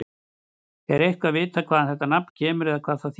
Er eitthvað vitað hvaðan þetta nafn kemur eða hvað það þýðir?